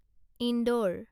indoor